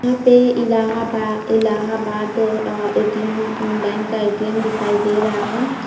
यहाँ पे इलाहाबा इलाहबाद अ ए.टी.एम. बैंक का ए.टी.एम. दिखाई दे रहा है।